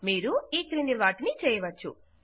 మీరు ఈక్రింది వాటిని చేయవచ్చు